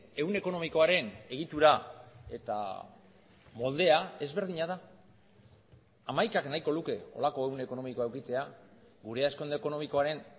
ehun ekonomikoaren egitura eta moldea ezberdina da hamaikak nahiko luke holako ehun ekonomikoa edukitzea gure hazkunde ekonomikoaren